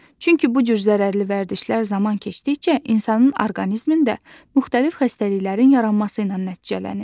Çünki bu cür zərərli vərdişlər zaman keçdikcə insanın orqanizmində müxtəlif xəstəliklərin yaranması ilə nəticələnir.